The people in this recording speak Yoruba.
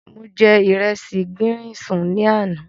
Mo jẹ ìresì gírín-ìn sùn ní àná.